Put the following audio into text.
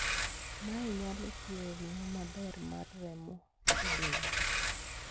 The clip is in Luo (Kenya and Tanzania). mae nyalo thiro ringo maber mar remo e del